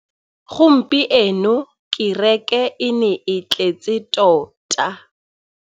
Gompieno kêrêkê e ne e tletse tota.